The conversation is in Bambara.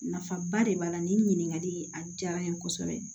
Nafaba de b'a la nin ɲininkali a diyara n ye kosɛbɛ